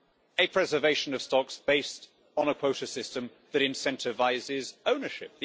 a preservation of stocks based on a quota system that incentivises ownership.